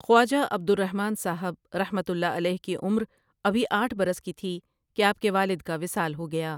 خواجہ عبد الرحمن صاحب رحمۃ اللہ علیہ کی عمر ابھی آٹھ برس کی تھی کہ آپ کے والدکا وصال ہو گیا۔